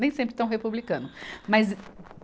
Nem sempre tão republicano. Mas